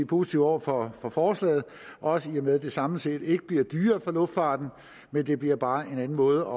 positive over for forslaget også i og med at det samlet set ikke bliver dyrere for luftfarten men det bliver bare en anden måde